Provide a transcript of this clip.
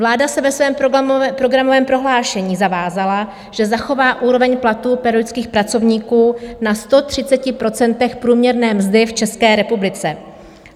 Vláda se ve svém programovém prohlášení zavázala, že zachová úroveň platů pedagogických pracovníků na 130 % průměrné mzdy v České republice.